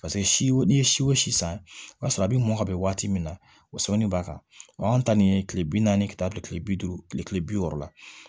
Paseke si n'i ye si o si san o y'a sɔrɔ a bi mɔn ka bɛn waati min na o sɛbɛnni b'a kan anw ta nin ye kile bi naani ka taa don kile bi duuru kile bi wɔɔrɔ la